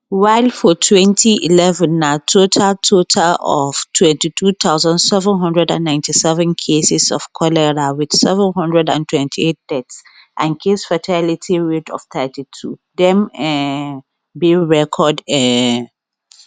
while for twenty- eleven na total total of twenty two thousand seven hundred and ninty seven cases of cholera wit seven hundred and twenty eight deaths and casefatality rate of thirty two dem um bin record um